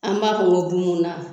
An b'a fɔ ko bunbun na